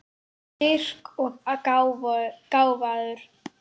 Styrk og gáfur.